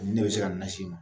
Ne bɛ se ka na si ma